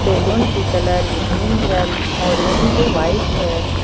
Balloon की colour green orange white है।